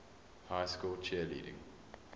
high school cheerleading